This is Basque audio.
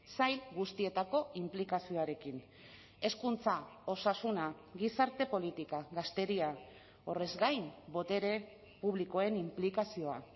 sail guztietako inplikazioarekin hezkuntza osasuna gizarte politika gazteria horrez gain botere publikoen inplikazioa